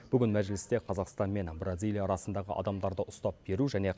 бүгін мәжілісте қазақстан мен бразилия арасындағы адамдарды ұстап беру және